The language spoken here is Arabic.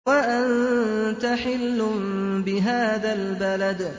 وَأَنتَ حِلٌّ بِهَٰذَا الْبَلَدِ